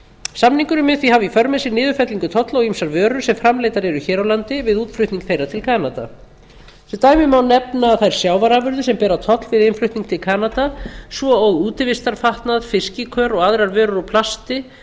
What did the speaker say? mun því hafa í för með sér niðurfellingu tolla á ýmsar vörur sem framleiddar eru hér á landi við útflutning þeirra til kanada sem dæmi má nefna þær sjávarafurðir sem bera toll við innflutning til kanada svo og útivistarfatnað fiskikör og aðrar vörur úr plasti